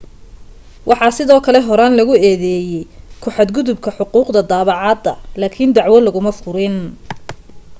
waxaa sidoo kale horaan lagu eedeeyay ku xad gudubka xuquuqda daabacaadda laakin dacwo laguma furin